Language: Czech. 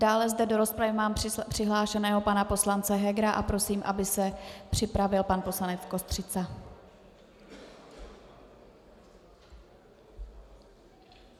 Dále zde do rozpravy mám přihlášeného pana poslance Hegera a prosím, aby se připravil pan poslanec Kostřica.